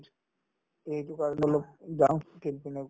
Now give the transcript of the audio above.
এইটো কাৰণে অলপ যাওঁ